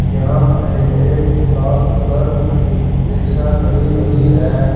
यहां पे ये लाल कलर की रिक्शा खड़ी हुई है।